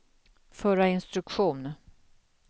förra instruktion